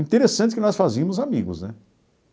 Interessante que nós fazíamos amigos, né?